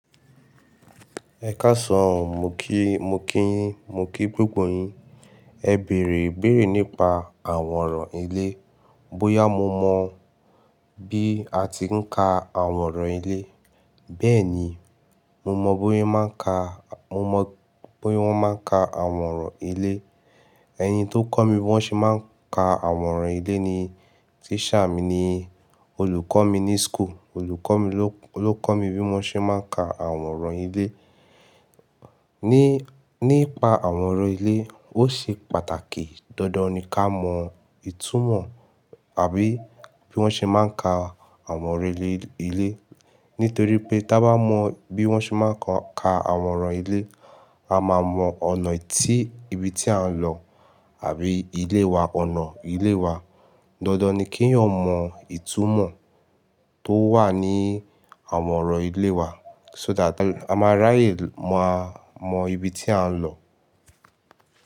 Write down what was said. Ẹkáasan o, mo kí, mo kí yín, mo kí gbogbo yin. Ẹ bèèrè, ibèèrè nípa àwòrán ilé, bóyá mo mọ bí a ti ń ka àwòrán ilé. Bẹ́ẹ̀ni, mo mọ̀ bóye máa ń ka, mo mọ̀ bóyé wọ́n máa ń ka àwòrán ilé. Ẹ̀ni tó kọ́ mi bí wọ́n ṣe máa ń ka àwòrán ilé ni teacher mi ni olùkọ́ mi ní school, olùkọ́ mi ló, bí wọ́n ṣe máa ń ka àwòrán ilé. Ní, nípa àwòrán ilé, ó ṣe pàtàkì dandan ní kí á mọ ìtumọ̀ àbí bí wọ́n ṣe máa ń ka àwòrán ilé ilé. Nítorí pé tí a bá mọ bí wọ́n ṣe máa ń ka àwòrán ilé, a máa mọ ọ̀nà tí ibi tí à ń lọ àbí ilé wa, ọ̀nà ilé wa. Dandan ni kí ẹ̀yan ọ l jumọ ìtumọ̀ tó wà ní àwòrán ilé wa. So that a máa ráyè mọ, mọ ibi tí à ń lọ.